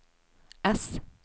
S